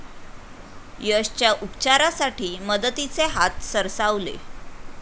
यशच्या उपचारासाठी मदतीचे हात सरसावले